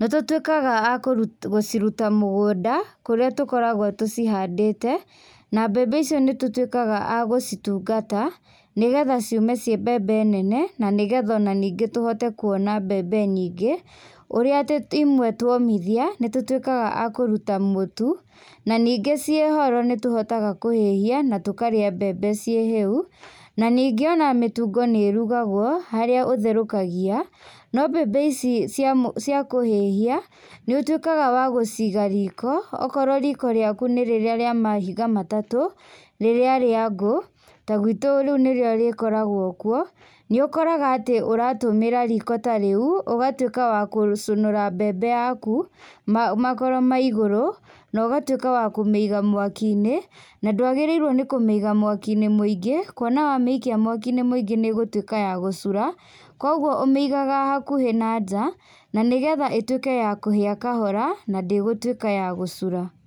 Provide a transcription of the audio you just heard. nĩtũtwĩkaga akũru gũciruta mũgũnda, kũrĩa tũkoragwo tũcihandĩte, na mbembe icio nĩt'twĩkaga agũcitungata, nĩgetha ciume ciĩ mbembe nene, nanĩgetha onaningĩ tũhote kuona mbembe nyingĩ, ũrĩa atĩ two imwe twomithia, nĩtũtwĩkaga akũruta mũtu, naningĩ ciĩhoro nĩtũhotaga kũhĩhia, na tũkarĩa mbembe ciĩ hĩu, na ningĩ ona mĩtungo nĩrugagwo, harĩa ũtherũkagia, no mbembe ici cia mũ cia kũhĩhia, nĩũtwĩkaga wa gũciga riko, okorwo riko rĩaku nĩ rĩrĩa rĩa mahiga matatũ, rĩrĩa rĩa ngũ, ta gwitũ rĩu nĩrĩo rĩkoragwo kuo, nĩũkoraga atĩ, ũratũmĩra riko ta rĩu, ũgatwĩka wa kũcũnũra mbembe yaku, ma makoro ma igũrũ, nogatwĩka wa kũmĩiga mwaki-inĩ, na ndwagĩrĩirwo nĩ kũmĩiga mwaki-inĩ mũingĩ, kuona wamĩikia mwaki-inĩ mũingĩ nĩgũtwĩka ya gũcura, koguo ũmĩigaga hakuhĩ na njaa na nĩgetha ĩtwĩke ya kũhĩa kahora, na ndĩgũtwĩka ya gũcura.